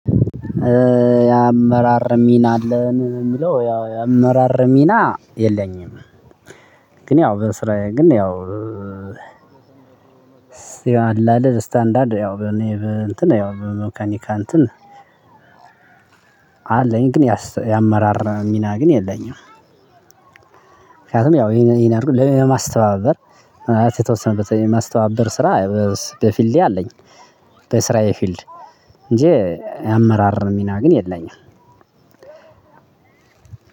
የአመራር ሚና አለን የሚለው ያው የአመራር ሚና የለኝም። ግን የው በስራየ ግን ያው። ያው አላ አይደል ስታንዳርድ ያው በኔ እንትን ያው በመካኒካ እንትን አለኝ ግን የአመራር ሚና ግን የለኝም። ምክንያቱም ያው ይሄን አድርጉ ለማስተባበር ማስተባበር ስራ በፊልዴ አለኝ። በስራዬ ፊልድ እንጂ የአመራር ሚና ግን የለኝም።